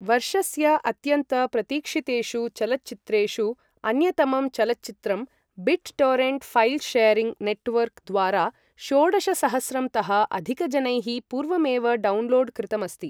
वर्षस्य अत्यन्त प्रतीक्षितेषु चलच्चित्रेषु अन्यतमं चलच्चित्रं bit torrent file sharing network द्वारा षोडशसहस्रं तः अधिकजनैः पूर्वमेव डौन्लोड् कृतम् अस्ति।